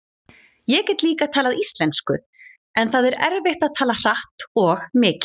Ég get líka talað íslensku en það er erfitt að tala hratt og mikið.